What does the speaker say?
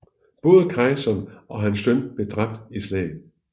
Både kejseren og hans søn blev dræbt i slaget